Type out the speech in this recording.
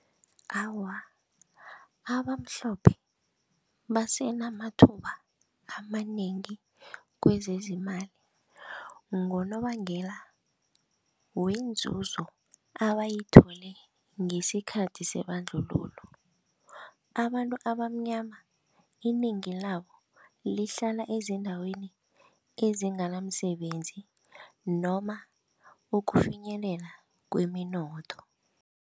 Awa, abamhlophe basenamathuba amanengi kwezezimali ngonobangela wenzuzo abayithole ngesikhathi sebandlululo. Abantu abamnyama inengi labo lihlala eziindaweni ezinganamsebenzi noma ukufinyelela kweminotho.